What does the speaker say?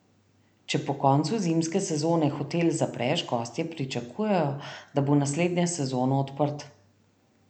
Če po koncu zimske sezone hotel zapreš, gostje pričakujejo, da bo naslednjo sezono odprt.